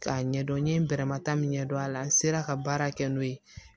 K'a ɲɛdɔn n ye bɛrɛma ta min ɲɛdɔn a la n sera ka baara kɛ n'o ye